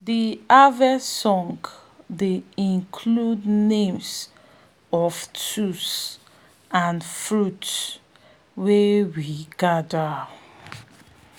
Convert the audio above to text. de harvest song dey include names of tools and fruits wey we gather